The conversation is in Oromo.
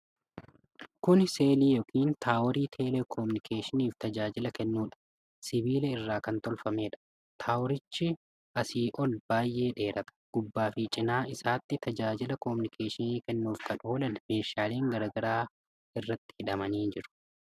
Kuni selii yookiin taaworii telekominikeeshiniif tajaajila kennudha. Sibiila irraa kan tolfameedha. Toowirichi asii ol baay'ee dheerata. Gubbaa fi cinaa isaatti tajaajila kominikeeshinii kennuuf kan oolan meedhaaleen garaa garaa irratti hidhamanii jiru.